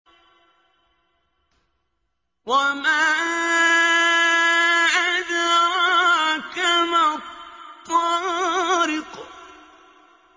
وَمَا أَدْرَاكَ مَا الطَّارِقُ